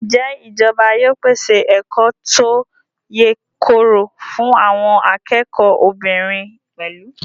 Ǹjẹ́ ìjọba yóò pèsè ẹ̀kọ́ tó yèkoro fún àwọn akẹ́kọ̀ọ́ obìnrin pẹ̀lú?